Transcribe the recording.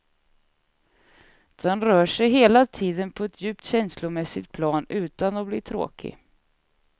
Den rör sig hela tiden på ett djupt känslomässigt plan utan att bli tråkig.